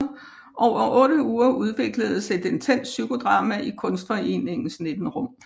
Over 8 uger udvikledes et intenst psykodrama i Kunstforeningens 19 rum